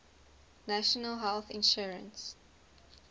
national health insurance